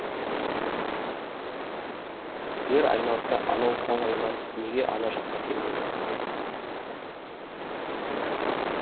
жер айналса анау тау айналып неге ана жаққа келмейді